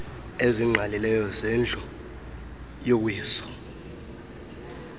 ezingqalileyo zendlu yowiso